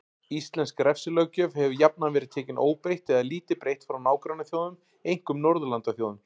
Íslensk refsilöggjöf hefur jafnan verið tekin óbreytt eða lítið breytt frá nágrannaþjóðum, einkum Norðurlandaþjóðum.